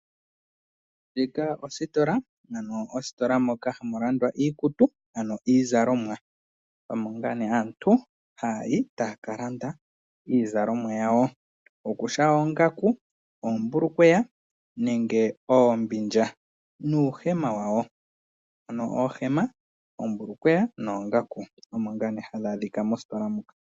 Ositola yiikutu ndjoka tayi landitha iikutu ngashi oombilya, uuhema, oombulukweya nosho woo oongaku, aantu ohaayi kositola ndjika opo ya kalande iizalomwa yawo.